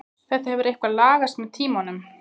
Þetta hefur eitthvað lagast með tímanum.